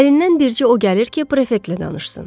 Əlindən bircə o gəlir ki, prefektlə danışsın.